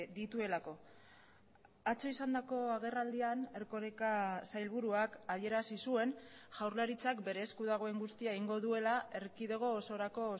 dituelako atzo izandako agerraldian erkoreka sailburuak adierazi zuen jaurlaritzak bere esku dagoen guztia egingo duela erkidego osorako